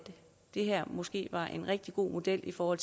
det her måske var en rigtig god model for